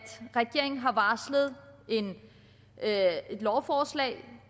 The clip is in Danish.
regeringen har varslet et lovforslag